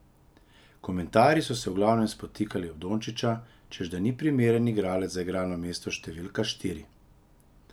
Komentarji so se v glavnem spotikali ob Dončića, češ da ni primeren igralec za igralno mesto številka štiri.